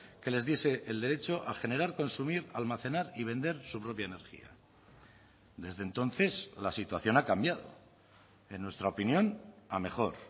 que les diese el derecho a generar consumir almacenar y vender su propia energía desde entonces la situación ha cambiado en nuestra opinión a mejor